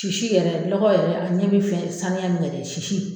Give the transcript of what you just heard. Sisi yɛrɛ lɔgɔ yɛrɛ a ɲɛ min fɛ saniya min yɛrɛ sisi